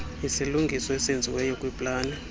isilungiso esenziweyo kwiplani